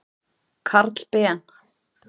Karl Ben.